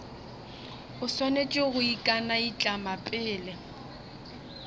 o swanetše go ikanaitlama pele